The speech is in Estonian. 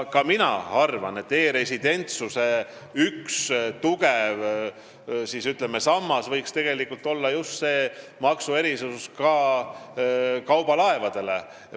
Ka mina arvan, et e-residentsuse üks tugev, ütleme, sammas võiks olla just see kaubalaevade maksuerisus.